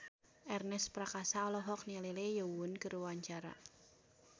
Ernest Prakasa olohok ningali Lee Yo Won keur diwawancara